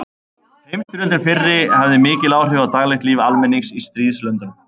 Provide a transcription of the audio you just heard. Heimsstyrjöldin fyrri hafði mikil áhrif á daglegt líf almennings í stríðslöndunum.